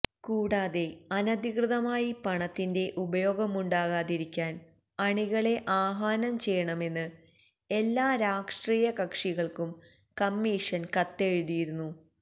കൂടാതെ അനധികൃതമായി പണത്തിന്റെ ഉപയോഗമുണ്ടാകാതിരിക്കാന് അണികളെ ആഹ്വാനം ചെയ്യണമെന്ന് എല്ലാ രാഷ്ട്രീയകക്ഷികള്ക്കും കമ്മീഷന് കത്തെഴുതിയിരുന്നു